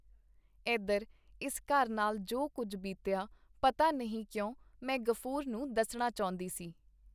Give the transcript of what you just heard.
ਏਧਰ ਇਸ ਘਰ ਨਾਲ ਜੋ ਕੁੱਝ ਬੀਤਿਆ ਪਤਾ ਨਹੀਂ ਕਿਉਂ ਮੈਂ ਗ਼ਫੂਰ ਨੂੰ ਦੱਸਣਾ ਚਾਹੁੰਦੀ ਸੀ.